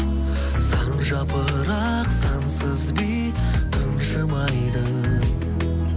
сан жапырақ сансыз би тымжымайды